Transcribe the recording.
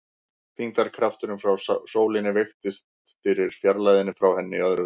Þyngdarkrafturinn frá sólinni veikist með fjarlægðinni frá henni í öðru veldi.